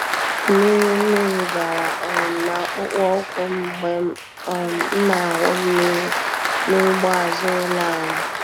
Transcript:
Mmiri Mmiri bara um n'akpụkpọ ụkwụ m mgbe um m na-awụ mmiri n'ugbo azụ ụlọ anyị.